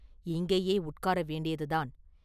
இங்கேயே உட்கார வேண்டியதுதான்.